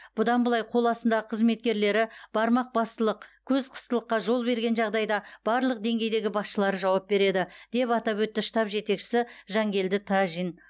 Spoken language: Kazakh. бұдан былай қол астындағы қызметкерлері бармақ бастылық көз қыстылыққа жол берген жағдайда барлық деңгейдегі басшылары жауап береді деп атап өтті штаб жетекшісі жангелді тәжин